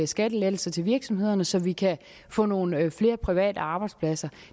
skattelettelser til virksomhederne altså så vi kan få nogle flere private arbejdspladser